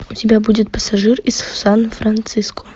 у тебя будет пассажир из сан франциско